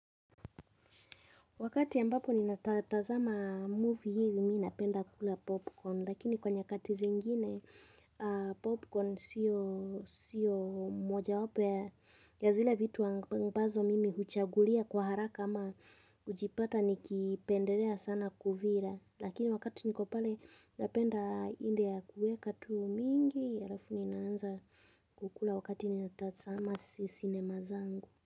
Wakati ambapo ni natatazama movie hili mi napenda kukula popcorn lakini kwa nyakati zingine popcorn sio mojawapo ya zile vitu wa ambazo mimi huchagulia kwa haraka ama kujipata nikipendelea sana kuvila lakini wakati ni kupale napenda india kueka tu mingi alafu ni naanza kukula wakati ni natatazama cinema zangu.